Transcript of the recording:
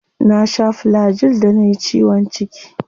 Na sha Flagyl da nayi ciwon ciki.